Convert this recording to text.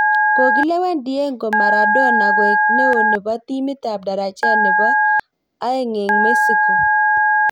Kogilewen Diego Maradona koek neoo nebo timit ab darajet nebo aeng'eng' Mexico